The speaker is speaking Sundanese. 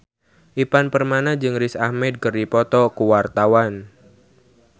Ivan Permana jeung Riz Ahmed keur dipoto ku wartawan